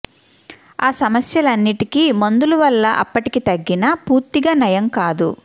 ఆ సమస్యలన్నింటికి మందులు వల్ల అప్పటికి తగ్గినా పూర్తిగా నయం కాదు